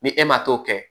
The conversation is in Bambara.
Ni e ma t'o kɛ